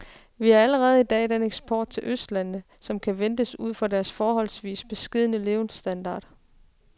Vi har allerede i dag den eksport til østlandene, som kan ventes ud fra deres forholdsvis beskedne levestandard.